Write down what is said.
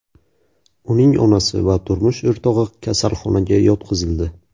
Uning onasi va turmush o‘rtog‘i kasalxonaga yotqizildi.